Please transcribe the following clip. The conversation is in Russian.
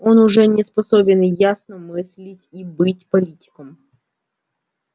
он уже не способен ясно мыслить и быть политиком